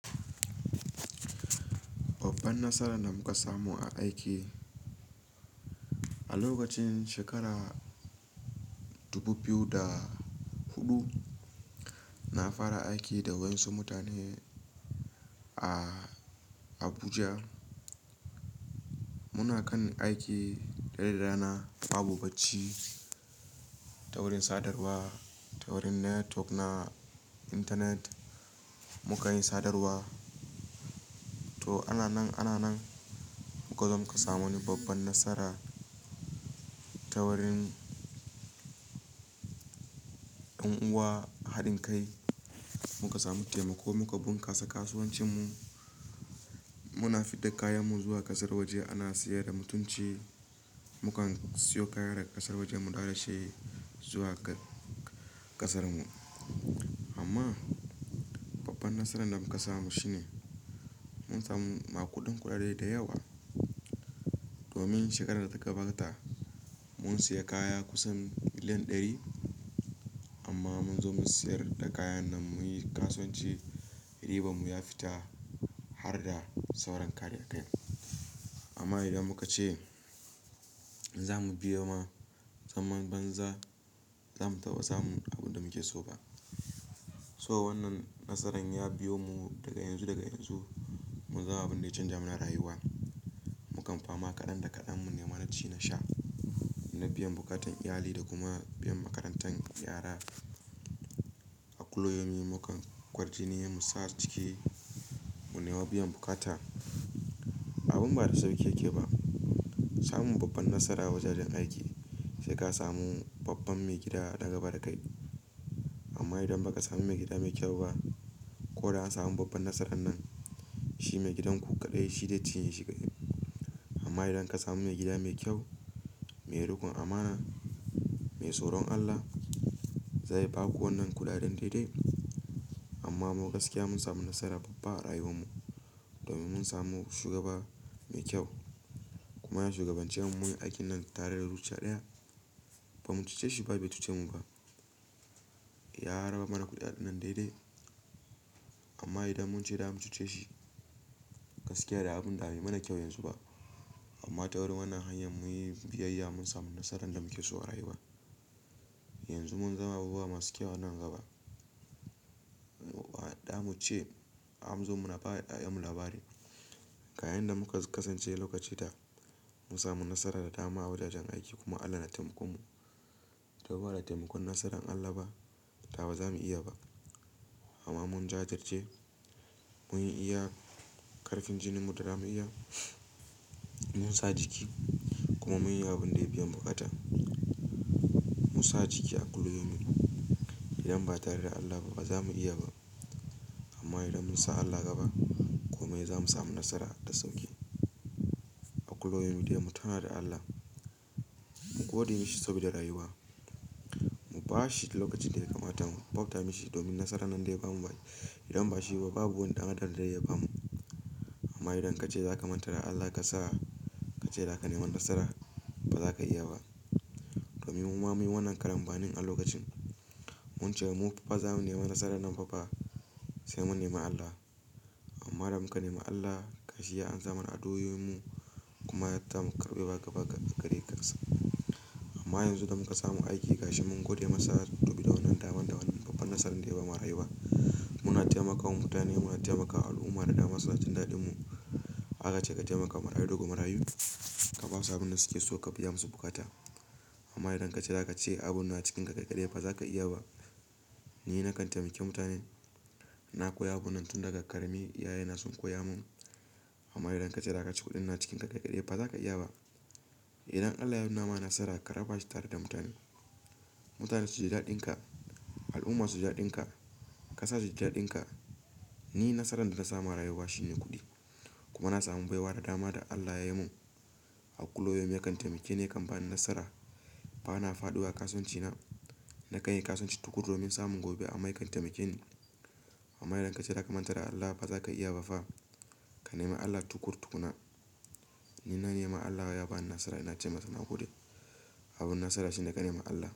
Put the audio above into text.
Babban nasaran da muka samu a aiki, a lokacin shekara 2004, na fara aiki da wasu mutane a Abuja. Muna kan aiki dare da rana babu bacci ta wurin sadarwa, ta wurin network na intanet muka yi sadarwa. To, ana nan ana nan muka zo muka samu wani babban nasara ta wurin ɗan'uwa haɗin kai muka samu taimako muka bunkasa kasuwancinmu. Muna fidda kayanmu zuwa ƙasar waje ana sayar da mutunci. Mukan siyo kaya daga ƙasar waje mu ɗaura shi zuwa ƙa-ƙasar mu. Amma babban nasaran da muka samu shi ne mun samu ma kuɗin kuɗaɗe da yawa. Domin shekarar da ta gabata mun siya kaya kusan miliyan ɗari amma mun zo mu siyar da kayan nan muyi kasuwanci ribanmu ya fita har da sauran kayan kai. Amma idan muka ce za mu biyo ma, zaman banza za mu taɓa samun abin da muke so ba. So wannan nasaran ya biyo mu daga yanzu daga yanzu, mu zama abun da ya canja mana rayuwa. Mukan fama ƙadan da ƙadan mu neman naci na sha, na biyan buƙatan iyali da kuma biyan makarantar yara. A kulayomi mukan kwar jini ne muyi sa ciki mu nema biyan bukata. Abun ba da sauki yake ba. Samun babban nasara wajajen aiki sai ka samu babban maigida daga bada kai. Amma idan ba ka samu maigida mai kyau ba, ko da an samu babban nasara nan, shi maigidanku kadai shi zai cinye shi kadai. Amma idan ka samu maigida mai kyau, mai riƙon amana, mai tsoron Allah, zai ba ku wannan kuɗaɗen daidai. Amma mu gaskiya mun samu nasara babba a rayuwar mu domin mun samu shugaba mai kyau. Kuma ya shugabance mu muyi aikin nan tare da zuciya ɗaya. Ba mu cuce shi ba bai cuce mu ba. Ya raba mana kuɗaɗen nan daidai. Amma idan mun ce za mu cuce shi, gaskiya da abun da bai mana kyau yanzu ba. Amma ta wurin wannan hanyar mun yi biyayya mun samu nasaran da muke so a rayuwa. Yanzu mun zama abubuwa masu kyau a nan gaba. Waɗɗa mu ce a zo mu na ba yayanmu labari. A yayin da muka kasance lokaci ta mun samu nasarar da dama a wajajen aiki kuma Allah na taimakon mu. To ba da taimakon nasaran Allah ba, da ba za mu iya ba. Amma mun jajirce mun yi iya ƙarfin jininmu da za mu iya, mun sa jiki kuma mun yi abun da ya biyan bukata. Mun sa jiki a kuloyinmu. Idan ba tare da Allah ba ba za mu iya ba. Amma idan mun sa Allah gaba, komai za mu samu nasara da sauƙi. A kulayomi dai mu tuna da Allah, mu gode mi shi saboda rayuwa. Mu ba shi lokacin da ya kamata mu bauta mi shi domin nasarar nan daya bamu ba. Idan ba shi ba babu wani ɗan Adam da ze iya ba mu. Amma idan ka ce za ka manta da Allah ka sa ka ce za ka nema nasara, ba za ka iya ba. Domin mu ma mun yi wannan karambanin a lokacin mun ce mu fa ba za mu nema nasara nan fa ba sai mun nema Allah. Amma idan muka nema Allah, gashi ya ansa mana addu'o'in mu kuma ya tammakarɓe wa gaba gadi kars. Amma yanzu da muka samu aiki gashi mun gode masa saboda wannan daman da wani babban nasara dai ya ba mana rayuwa. Muna taimakawa mutane, muna taimakawa al'umma da dama suna jin daɗin mu. Haka ce ka taimaka marayu dogon marayu. Ka ba su abin da suke so ka biya musu bukata. Amma idan ka ce za ka ce abun na cikin ka kaikadai fa za ka iya ba. Ni na kan taimake mutane, na koya abun nan tun daga ƙarami, iyaye na sun koya mun. Amma idan ka ce za ka ci kuɗin na cikin ka kaikadai ba za ka iya ba. Idan Allah ya nuna ma nasara, ka raba shi tare da mutane. Mutane su ji daɗin ka, al'umma su ji daɗin ka, ƙasa su ji daɗin ka. Ni nasaran da na samu a rayuwa shi ne kuɗi. Kuma na samu baiwa da dama da Allah ya yi mun. A kulayomi ya kan taimake ni yakan bani nasara. Ba na faɗuwa a kasuwanci na, na kan yi kasuwanci tukuru domin samun gobe amma ya kan taimake ni. Amma idan ka ce za ka manta da Allah ba za ka iya ba fa. Ka nema Allah tukur tukuna. Ni na nema Allah ya bani nasara ina ce masa na gode. Abun nasara shine ka nema Allah.